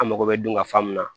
An mago bɛ dun ka fa min na